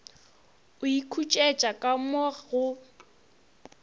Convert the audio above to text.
o ikhutše ka mo go